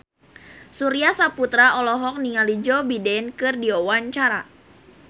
Surya Saputra olohok ningali Joe Biden keur diwawancara